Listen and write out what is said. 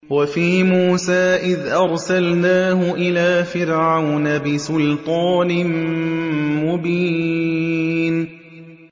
وَفِي مُوسَىٰ إِذْ أَرْسَلْنَاهُ إِلَىٰ فِرْعَوْنَ بِسُلْطَانٍ مُّبِينٍ